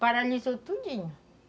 Paralisou tudinho.